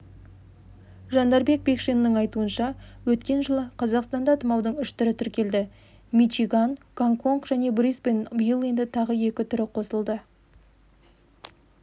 жандарбек бекшиннің айтуынша өткен жылы қазақстанда тұмаудың үш түрі тіркелді мичиган гонконг және брисбен биыл енді тағы екі түрі қосылды